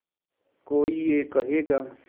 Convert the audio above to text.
कोई ये कहेगा